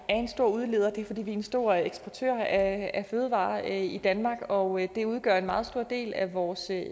stor udleder og det er fordi det er en stor eksportør af fødevarer i danmark og det udgør en meget stor del af vores